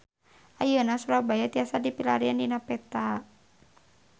Ayeuna Surabaya tiasa dipilarian dina peta